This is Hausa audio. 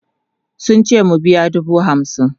sun ce mu biya dubu hamsin